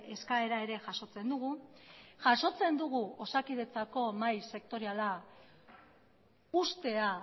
eskaera ere jasotzen dugu jasotzen dugu osakidetzako mahai sektoriala uztea